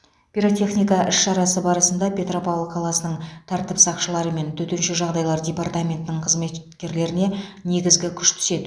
пиротехника іс шарасы барысында петропавл қаласының тәртіп сақшылары мен төтенше жағдайлар департаментінің қызметкерлеріне негізгі күш түседі